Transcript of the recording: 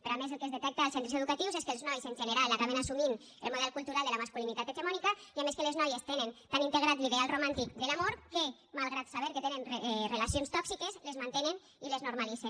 però a més el que es detecta als centres educatius és que els nois en general acaben assumint el model cultural de la masculinitat hegemònica i a més que les noies tenen tan integrat l’ideal romàntic de l’amor que malgrat saber que tenen relacions tòxiques les mantenen i les normalitzen